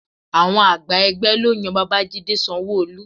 Àwọn àgbà ẹgbẹ́ ló yan Babajide Sanwo-Olu